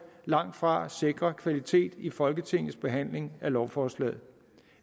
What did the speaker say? langtfra sikrer kvalitet i folketingets behandling af lovforslaget